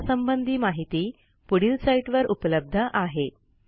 यासंबंधी माहिती पुढील साईटवर उपलब्ध आहे